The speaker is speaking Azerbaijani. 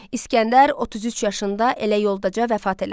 İsgəndər 33 yaşında elə yoldaca vəfat elədi.